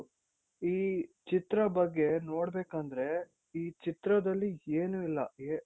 ಈ ಚಿತ್ರ ಬಗ್ಗೆ ನೋಡ್ಬೇಕಂದ್ರೆ ಈ ಚಿತ್ರದಲ್ಲಿ ಏನು ಇಲ್ಲ ಏ